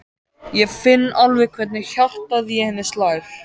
Ég finn alveg hvernig hjartað í henni slær.